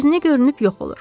Gözünə görünüb yox olur.